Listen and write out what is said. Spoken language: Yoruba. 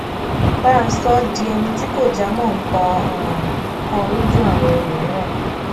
bàa sọ ó di ẹni tí kò já mó nǹkan um kan lójú àwọn ẹlòmíràn